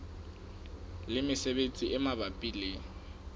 le mesebetsi e mabapi le